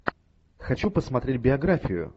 хочу посмотреть биографию